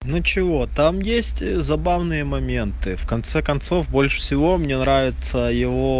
ну чего там есть забавные моменты в конце концов больше всего мне нравится его